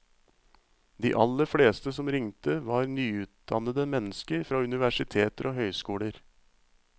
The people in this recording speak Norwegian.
De aller fleste som ringte var nyutdannede mennesker fra universiteter og høyskoler.